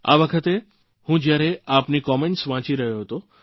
આ વખતે જયારે હું આપની કમેન્ટ્સ વાંચી રહ્યો હતો